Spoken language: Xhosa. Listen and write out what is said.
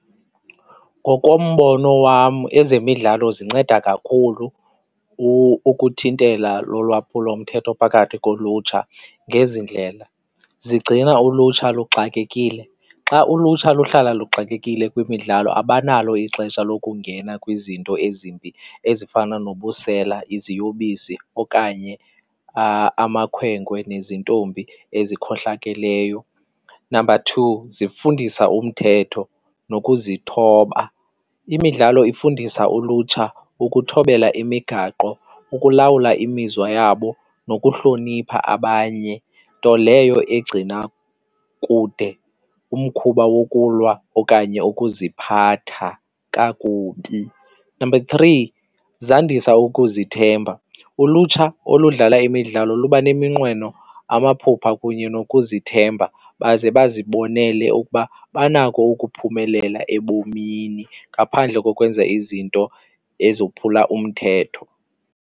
Ngokombono wam ezemidlalo zinceda kakhulu ukuthintela lulwaphulomthetho phakathi kolutsha ngezi ndlela, zigcina ulutsha luxakekile. Xa ulutsha luhlala luxakekile kwimidlalo abanalo ixesha lokungena kwizinto ezimbi ezifana nobusela, iziyobisi okanye amakhwenkwe nezintombi ezikhohlakeleyo. Number two, zifundisa umthetho nokuzithoba. Imidlalo ifundisa ulutsha ukuthobela imigaqo, ukulawula imizwa yabo nokuhlonipha abanye, nto leyo egcina kude umkhuba wokulwa okanye ukuziphatha kakubi. Number three, zandisa ukuzithemba. Ulutsha oludlala imidlalo luba neminqweno, amaphupha kunye nokuzithemba baze bazibonele ukuba banako ukuphumelela ebomini ngaphandle kokwenza izinto ezophula umthetho.